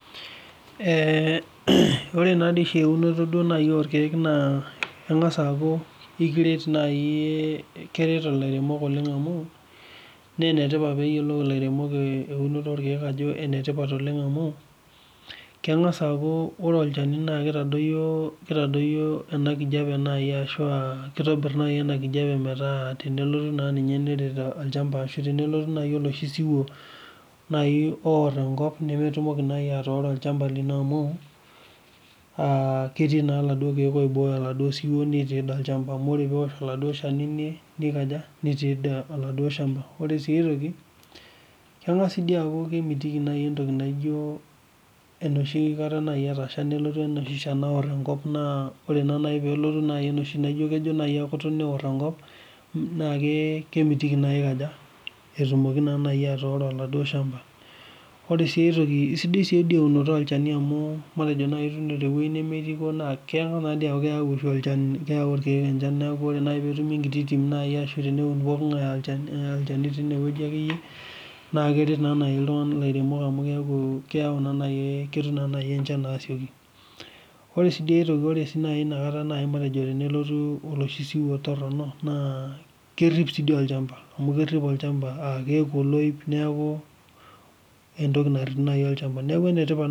Ore na dei oshi eunoto nai orkiek naa engas aaku ekiret naii, keret ilaunok oleng naa enetipat peyie eaku laremok lolkiek eunoto ajo enetipat oleng amuu, kengas aaku ore olchani naa keitadoyio ena enkijepe amu keitobir nai ashu metaa tenelotu ena enkijape olchamba ashu tenelotu nai enoshi siwuo naii oarr enkop nemetumoki naa atooro ilchamba lino amuu ketii naa eladuo irkiek oibooyo eladuo siwuo otii olchamba amu ore piwuor eladuo ilshani neikoja, netii eladuo ilshamba. Ore sii aitoki engas dei aaku kemitiki ntoki naijo enoshi kata nai etasha nijo nelotu enoshi inshan nawor enkop naa ore naa pelotu nai enoshi najo kejo nai akutu neor enkop, naa kemitiki naa eikoja? Etumoki nai atooro enaduo ilshamba. Ore si eitoki, esidai sii dei eunoto olchani amu metejo nai tewueji nemekipo naa kengas naa aku oshi olchani neaku ore naa peetumi enkiti timi nai ashu teneun pooki ng'ae olchani teineweji ake iyie naa ketii naa lairemok amu keaku naa nai kesha nai enchan asioki. Ore sii dei aitoki, ore si nai inakata matejo tenelotu eloshi siwuo torino naa kerip sii dii olchamba, amu kerip olchamba etii oloip naaku entoki narip nai olchamba, naaku enetipat.